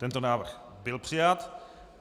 Tento návrh byl přijat.